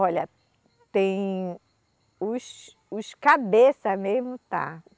Olha, tem os, os cabeça mesmo, está?